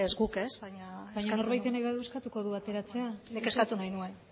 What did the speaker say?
guk ez baina norbaitek nahi badu eskatuko du ateratzea nik eskatu nahi nuen